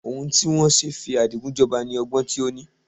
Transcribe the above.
Ohun tí wọn ṣe fi Adigun jọba ni ọgbọ́n tí ó ní.